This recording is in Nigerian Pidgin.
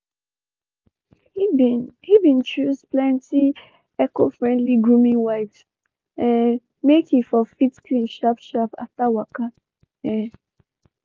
he been he been choose plenty eco friendly grooming wipes um make he for fit clean sharp sharp after waka um